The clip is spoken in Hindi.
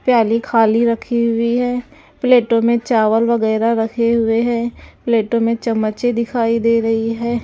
प्याली खाली रखी हुई है प्लेटों में चावल वगैरह रखे हुए हैं प्लेटों में चमचे दिखाई दे रही है।